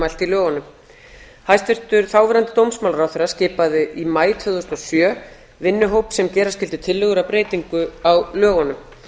mælt í lögunum hæstvirtur þáverandi dómsmálaráðherra skipaði í maí tvö þúsund og sjö vinnuhóp sem gera skyldi tillögur að breytingu á lögunum